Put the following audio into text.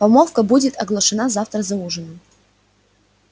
помолвка будет оглашена завтра за ужином